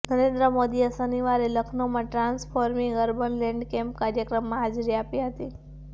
નરેન્દ્ર મોદીએ શનિવારે લખનઉમાં transforming urban landscape કાર્યક્રમમાં હાજરી આપી હતી